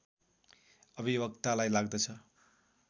अभिवक्तालाई लाग्दछ